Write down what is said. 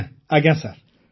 ଆଜ୍ଞା ଆଜ୍ଞା ସାର୍